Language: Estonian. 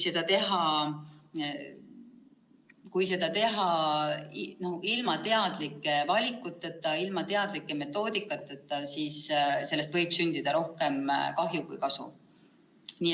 Kui seda teha ilma teadlike valikuteta, ilma teadlike metoodikateta, siis võib sündida rohkem kahju kui kasu.